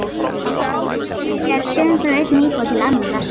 Þráhyggja er söm frá einni íbúð til annarrar.